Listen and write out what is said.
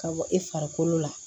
Ka bɔ i farikolo la